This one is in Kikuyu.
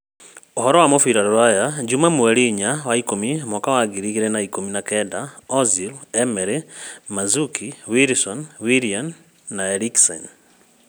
Ũhoro wa mũbira rũraya juma mweri inya wa-ikũmi mwaka wa Ngiri igĩrĩ na ikũmi na kenda: Ozil, Emery, Mandzukic, Wilson, Willian, Eriksen